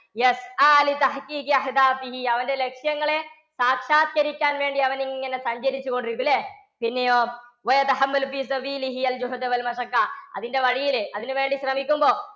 അവൻറെ ലക്ഷ്യങ്ങളെ സാക്ഷാത്കരിക്കാൻ വേണ്ടി അവനിങ്ങനെ സഞ്ചരിച്ചുകൊണ്ടിരിക്കും അല്ലേ? പിന്നെയോ അതിൻറെ വഴിയിൽ അതിനുവേണ്ടി ശ്രമിക്കുമ്പോൾ